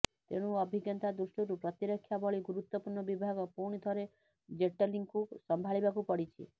ତେଣୁ ଅଭିଜ୍ଞତା ଦୃଷ୍ଟିରୁ ପ୍ରତିରକ୍ଷା ଭଳି ଗୁରୁତ୍ୱପୂର୍ଣ ବିଭାଗ ପୁଣି ଥରେ ଜେଟଲୀଙ୍କୁ ସମ୍ଭାଳିବାକୁ ପଡିଛି